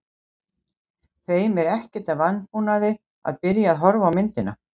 Þeim er ekkert að vanbúnaði að byrja að horfa á myndina.